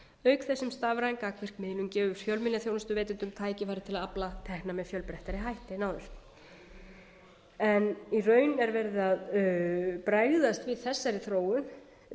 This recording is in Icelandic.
auk þess sem stafræn gagnaversmiðlun gefur fjölmiðlaþjónustuveitendum tækifæri til að afla tekna með fjölbreyttari hætti en áður en í raun er verið að bregðast við þessari þróun